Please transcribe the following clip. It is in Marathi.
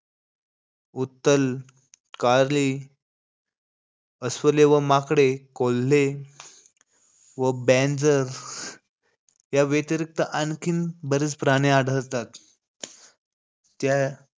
उत्तल, कार्ले अस्वले व माकडे, कोल्हे व बँजर, या व्यतिरिक्त आणखीन बरेच प्राणी आढळतात. त्या,